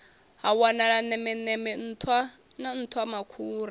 ha wanala nemeneme nṱhwa nṱhwamakhura